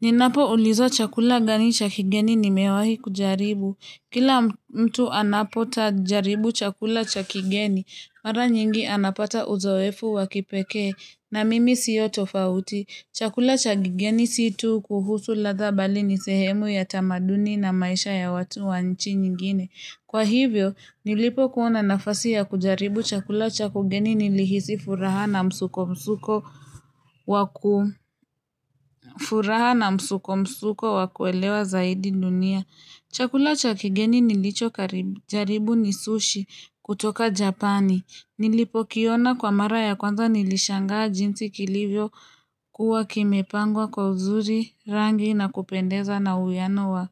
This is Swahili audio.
Ninapo ulizo chakula gani chakigeni nimewahi kujaribu. Kila mtu anapota jaribu chakula chakigeni, mara nyingi anapata uzoefu wakipeke na mimi siyo tofauti. Chakula chakigeni situ kuhusu ladha bali nisehemu ya tamaduni na maisha ya watu wa nchi nyingine. Kwa hivyo, nilipo kuona nafasi ya kujaribu chakula chakugeni nilihisi furaha na msuko msuko wakuelewa zaidi dunia. Chakula cha kigeni nilicho karibu, jaribu ni sushi kutoka japani. Nilipo kiona kwa mara ya kwanza nilishangaa jinsi kilivyo kuwa kimepangwa kwa uzuri rangi na kupendeza na uyano wa